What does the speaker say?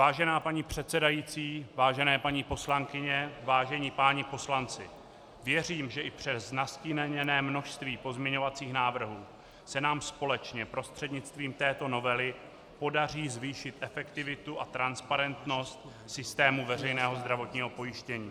Vážená paní předsedající, vážené paní poslankyně, vážení páni poslanci, věřím, že i přes nastíněné množství pozměňovacích návrhů se nám společně prostřednictvím této novely podaří zvýšit efektivitu a transparentnost systému veřejného zdravotního pojištění.